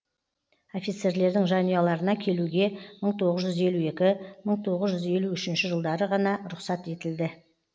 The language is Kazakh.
офицерлердің жанұяларына келуге мың тоғыз жүз елу екі мың тоғыз жүз елу үшінші жылдары ғана рұқсат етілді